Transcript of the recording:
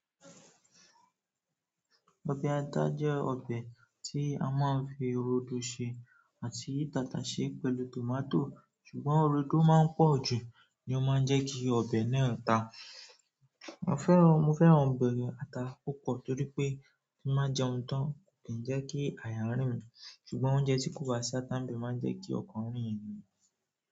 Ọbẹ̀ ata jẹ́ ọbẹ̀ tí a máa ń fi rodo ṣe àti tàtàsé pẹ̀lú tòmátò ṣùgbọ́n rodo máa ń pọ̀ jù ni ó máa ń jẹ́ kí ọbẹ̀ náà ta. Mo fẹ́ran, mo fẹ́ran ọbẹ̀ ata púpọ̀ torí pé bí mo bá jẹun tán ki n jẹ́ kí àyà rìn mí ṣùgbọ́n oúnjẹ tí kò bá ṣátá nìbe máa ń jẹ́ kí ọkàn rìn emi.